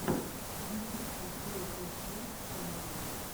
ютуб открой топ файв сентрал